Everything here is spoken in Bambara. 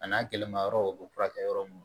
A n'a gɛlɛma yɔrɔw o bɛ furakɛ yɔrɔ minnu